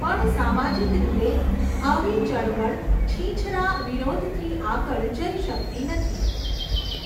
પણ સામાજિક રીતે આવી ચળવળ છીંછરા વિરોધથી આગળ જઈ શકતી નથી.